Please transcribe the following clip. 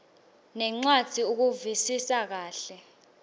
nencwadzi ukuvisisa kahle